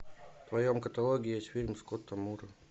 в твоем каталоге есть фильм скотта мура